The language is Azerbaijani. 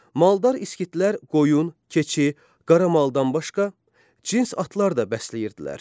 Maldar İskitlər qoyun, keçi, qaramaldan başqa, cins atlar da bəsləyirdilər.